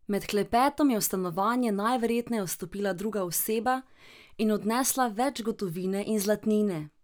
Med klepetom je v stanovanje najverjetneje vstopila druga oseba in odnesla več gotovine in zlatnine.